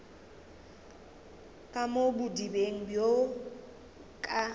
ka mo bodibeng bjo ka